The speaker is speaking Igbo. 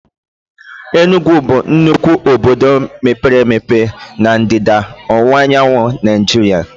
Enugwu bụ nnukwu obodo mepere emepe na Ndịda Ọwụwaanyanwụ Naịjirịa